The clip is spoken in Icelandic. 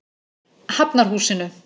Hafnarhúsinu